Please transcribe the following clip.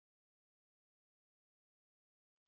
IIT Mumbai चे कन्नन मौद्गल्ल्या